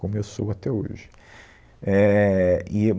como eu sou até hoje. Éh, e